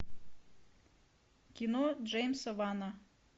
кино джеймса вана